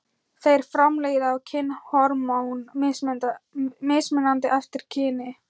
Þeir framleiða kynhormón mismunandi eftir kyni.